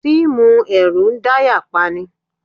Fíìmù ẹ̀rù ń dáyà pani.